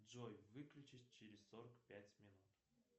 джой выключись через сорок пять минут